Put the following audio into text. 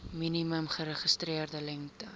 minimum geregistreerde lengte